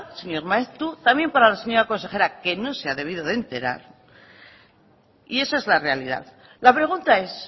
señor maeztu también para la señora consejera que no se ha debido de enterar y esa es la realidad la pregunta es